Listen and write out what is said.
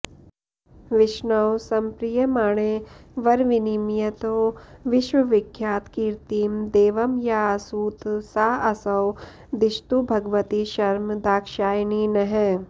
विष्णौ सम्प्रीयमाणे वरविनिमयतो विश्वविख्यातकीर्तिं देवं याऽसूत साऽसौ दिशतु भगवती शर्म दाक्षायणी नः